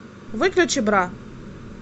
выключи бра